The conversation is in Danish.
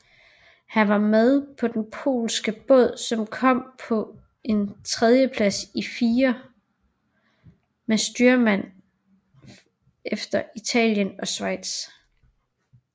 Han var med på den polske båd som kom på en tredjeplads i firer med styrmand efter Italien og Schweiz